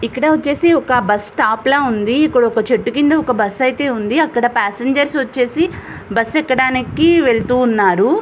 ఇక్కడ వచ్చేసి ఒక బస్ స్టాప్ లాగా ఉంది. ఇక్కడ ఒక చెట్టు కింద అయితే బస్సు ఉంది. అక్కడ పాసింజర్ వచ్చేసి బస్సు ఎక్కడానికి వెళుతూ ఉన్నారు.